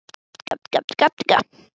Hún býður af sér góðan þokka.